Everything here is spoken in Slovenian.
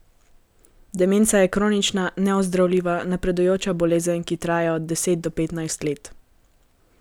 Demenca je kronična, neozdravljiva, napredujoča bolezen, ki traja od deset do petnajst let.